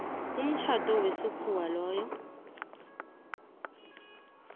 umtjhado wesikhuwa loyo